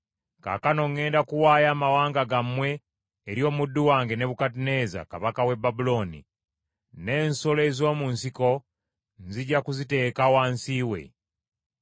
Kaakano ŋŋenda kuwaayo amawanga gammwe eri omuddu wange Nebukadduneeza kabaka w’e Babulooni, n’ensolo ez’omu nsiko nzija kuziteeka wansi we.